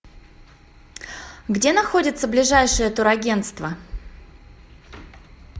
где находится ближайшее турагенство